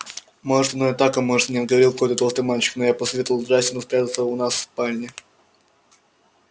может оно так а может и нет говорил какой-то толстый мальчик но я посоветовал джастину спрятаться у нас в спальне